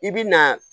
I bi na